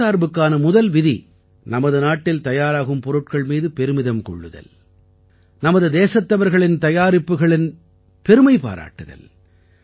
தற்சார்புக்கான முதல் விதி நமது நாட்டில் தயாராகும் பொருட்கள் மீது பெருமிதம் கொள்ளுதல் நமது தேசத்தவர்களின் தயாரிப்புகளின் பெருமை பாராட்டுதல்